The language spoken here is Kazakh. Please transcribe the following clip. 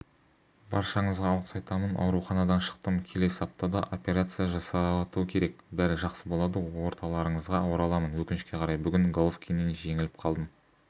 баршаңызға алғыс айтамын ауруханадан шықтым келесі аптада операция жасату керек бәрі жақсы болады орталарыңызға ораламын өкінішке қарай бүгін головкиннен жеңіліп қалдым